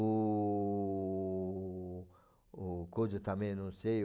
O... o coisa também eu não sei.